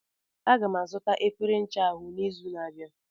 Aga m azụta efere ncha ahụ n'izu na-abịa.